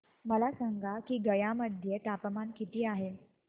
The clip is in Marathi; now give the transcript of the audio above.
मला सांगा की गया मध्ये तापमान किती आहे